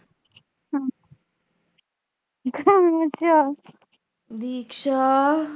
Diksha